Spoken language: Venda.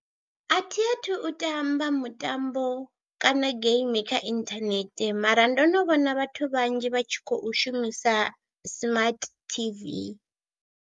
A thi a thu u tamba mutambo kana geimi kha inthanethe mara ndo no vhona vhathu vhanzhi vha tshi khou shumisa smart tv.